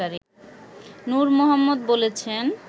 নূর মোহাম্মদ বলেছেন